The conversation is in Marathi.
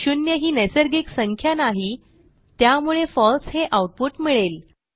शून्य ही नैसर्गिक संख्या नाही त्यामुळे फळसे हे आऊटपुट मिळेल